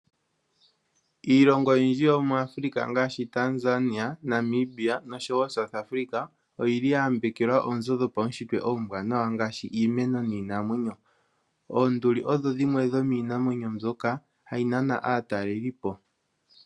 Iilongo oyindji yomu Afrika ngaashi Tanzania ,Namibia, oshowo South Africa oyayambela oozo dhopaushitwe oombwanawa iimeno niinamwenyo. Oonduli odhodhimwe dhomiinamwenyo mbwoka hayinana aatalelipo